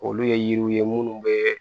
Olu ye yiriw ye munnu bɛ